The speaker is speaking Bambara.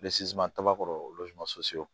kaba kɔrɔ olu ma